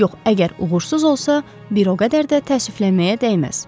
Yox, əgər uğursuz olsa, bir o qədər də təəssüflənməyə dəyməz.